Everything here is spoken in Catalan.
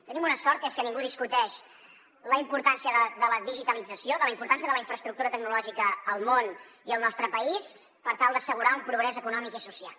tenim una sort que és que ningú discuteix la importància de la digitalització la importància de la infraestructura tecnològica al món i al nostre país per tal d’assegurar un progrés econòmic i social